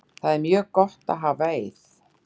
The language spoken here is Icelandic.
Það er mjög gott að hafa Eið.